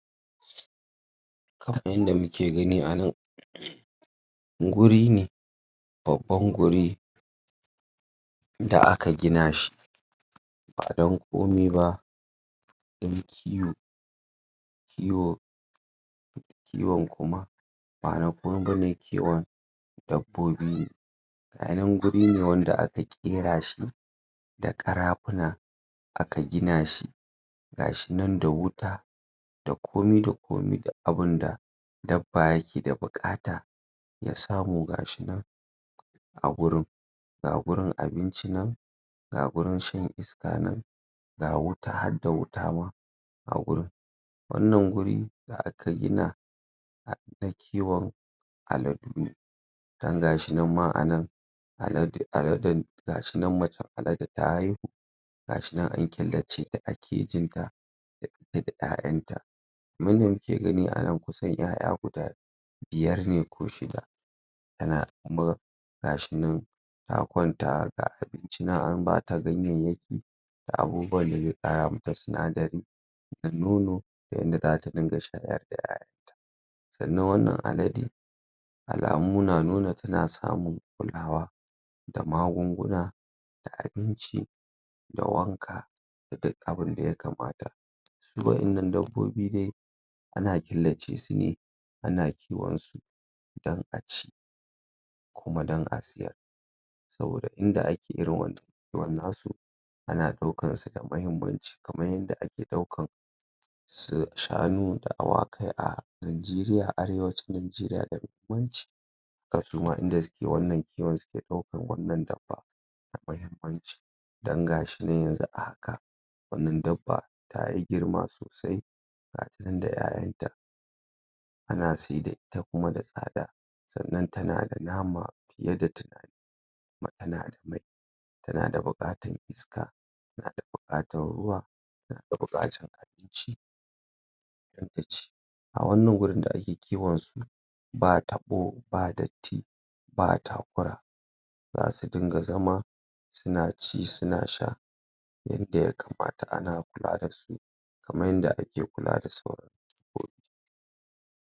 kaman yanda muke gani anan guri ne babban guri da aka gina shi ba dan komai ba dan kiwo kiwon kuma manaa dabbobi ga nan guri ne wanda aka kera shi da karafuna aka gina shi gashi nan da wuta da komai da komai duk abunda dabba yake da bukata ya samu ga shi nan a gurin ga gurin abinci nan ga gurin shna iska nan ga wuta hadda wuta ma ga gurin wannan guri da aka gina dan kiwon aladu ne dan gashi nan ma anan gashi nan macen alade ta haiwu gashi nan an killace ta a kejin ta da ita da 'ya 'yan ta kaman yanda kuke gani anan kusan 'ya 'ya guda biyar ne ko shida tana gurin gashi nan ta kwanta haka gashi nan a bata ganyayyaki da abubu wan da zai kara mata sinadari da nono da yanda zata ringa shayar da 'ya 'ya yan zu wannan alade alamu na nuna suna samun kulawa da magun guna da abinci da wanka duk abun da yakamta a 'yan nan dabbobi dai ana killace su ne ana kiwan su dan a ci ko dan siyar saboda inda ake ana daukan su da mahimmanci kaman yanda ake daukan su shanu da awakai a najeriya arewacin najeriya mahimmanci haka suma inda suke wannan dabban da mahimanci dan gashi nan yanzu a haka wannan dabba yayi girma sosai gashi nan da 'ya 'yan ta ana si da ita kuma da tsada sannan tanada nama yadda kuma tanda bukatan iska tanada bukatan ruwa tanda bukatan ci hadda ci a wannan guri da ake kiwan su ba tabo ba datti ba takura zasu dinga zama suna ci suna sha yadda ya kamata ana kula da su kaman yanda ake kula da su..